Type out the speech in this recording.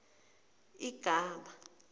igama